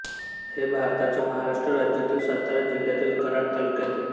हे भारताच्या महाराष्ट्र राज्यातील सातारा जिल्ह्यातील कराड तालुक्यातील